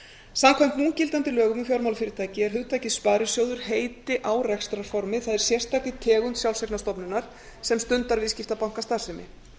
samkvæmt núgildandi lögum um fjármálafyrirtæki er hugtakið sparisjóður heiti á rekstrarformi það er sérstakri tegund sjálfseignarstofnunar sem stundar viðskiptabankastarfsemi